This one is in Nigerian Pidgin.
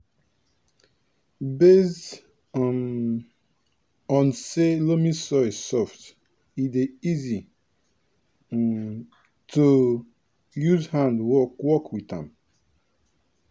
based um on say loamy soil soft e dey easy um to use hand work work with am